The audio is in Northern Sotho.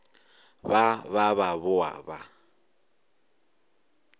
ba ba ba boa ba